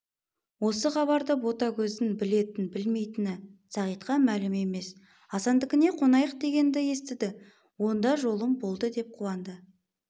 осы хабарды ботагөздің білетін-білмейтіні сағитқа мәлім емес асандікіне қонайық дегенді естіді онда жолым болды деп қуанды